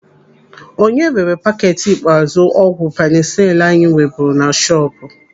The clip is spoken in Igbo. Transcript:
Onye rere paketi ikpeazụ ọgwụ penisilinu anyị nweburu na shọpu?